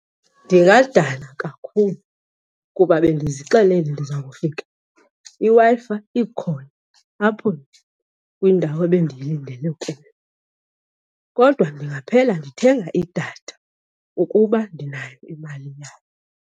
Ndingadana kakhulu kuba bendizixelele ndiza kufika iWi-Fi ikhona apho kwindawo ebendiyilindele kuyo. Kodwa ndingaphela ndithenga idatha ukuba ndinayo imali yayo.